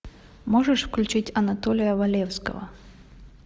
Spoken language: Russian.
можешь включить анатолия валевского